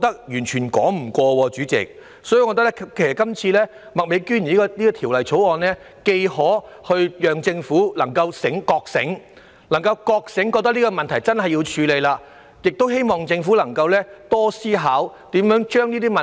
因此，麥美娟議員今次提出是項《條例草案》，既可令政府覺醒，明白必須切實處理這問題，亦希望能促使政府多加思考，探討如何解決相關問題。